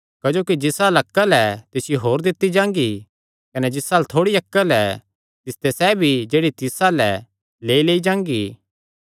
क्जोकि जिस अल्ल अक्ल ऐ तिसियो होर दित्ती जांगी कने जिस अल्ल थोड़ी अक्ल ऐ तिसते सैह़ भी जेह्ड़ी तिस अल्ल ऐ लेईलेई जांगी